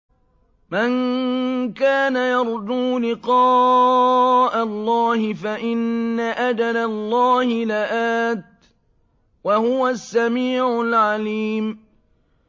مَن كَانَ يَرْجُو لِقَاءَ اللَّهِ فَإِنَّ أَجَلَ اللَّهِ لَآتٍ ۚ وَهُوَ السَّمِيعُ الْعَلِيمُ